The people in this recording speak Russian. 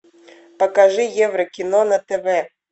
покажи евро кино на тв